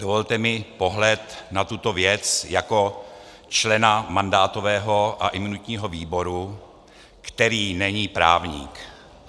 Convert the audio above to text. Dovolte mi pohled na tuto věc jako člena mandátového a imunitního výboru, který není právník.